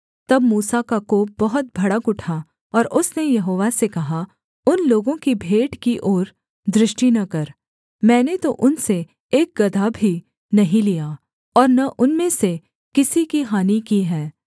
तब मूसा का कोप बहुत भड़क उठा और उसने यहोवा से कहा उन लोगों की भेंट की ओर दृष्टि न कर मैंने तो उनसे एक गदहा भी नहीं लिया और न उनमें से किसी की हानि की है